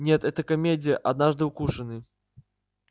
нет это комедия однажды укушенный